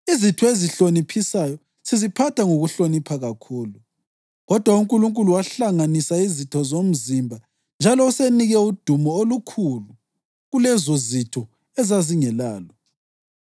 Izitho ezihloniphisayo siziphatha ngokuhlonipha kakhulu. Kodwa uNkulunkulu wahlanganisa izitho zomzimba njalo usenike udumo olukhulu kulezozitho ezazingelalo,